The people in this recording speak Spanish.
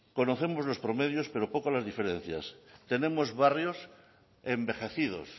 conocemos los promedios pero poco las diferencias tenemos barrios envejecidos